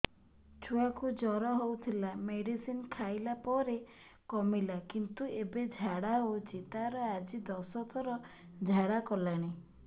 ଛୁଆ କୁ ଜର ହଉଥିଲା ମେଡିସିନ ଖାଇଲା ପରେ କମିଲା କିନ୍ତୁ ଏବେ ଝାଡା ହଉଚି ତାର ଆଜି ଦଶ ଥର ଝାଡା କଲାଣି